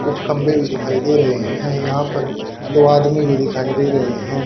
कुछ खम्बे भी दिखाई दे रहे है यहा पर दो आदमी भी दिखाई दे रहे है।